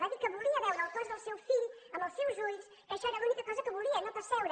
va dir que volia veure el cos del seu fill amb els seus ulls que això era l’única cosa que volia no pas seure